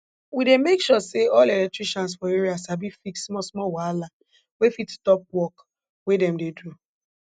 we dey make sure say all electricians for area sabi fix smallsmall wahala wey fit stop work wey dem dey do